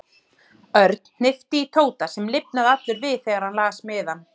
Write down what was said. Örn hnippti í Tóta sem lifnaði allur við þegar hann las miðann.